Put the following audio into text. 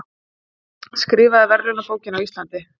Skrifaði verðlaunabókina á Íslandi